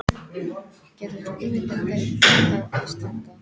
Getur þú ímyndað þér þá ástfangna?